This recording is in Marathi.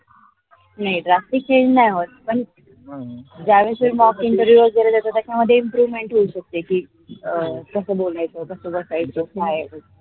नाही drastic change नाही होत पण ज्या वेळेस interview वगेरे साधे improvement होऊ शकते. कि कस बोलायेच कस बसयेच काय.